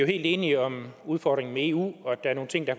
enige om udfordringen med eu og at der er nogle ting der